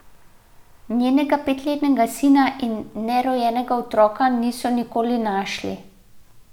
Njenega petletnega sina in nerojenega otroka niso nikoli našli.